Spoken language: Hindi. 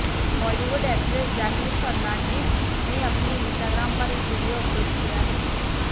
बॉलीवुड एक्ट्रेस जैकलीन फर्नांडीज ने अपने इस्टाग्राम पर एक वीडियो अपलोड किया है